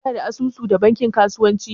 kana da asusu da bankin kasuwanci?